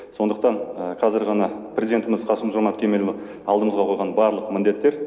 сондықтан қазір ғана президентіміз қасым жомарт кемелұлы алдымызға қойған барлық міндеттер